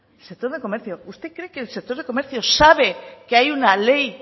el sector de comercio usted cree qué el sector de comercio sabe que hay una ley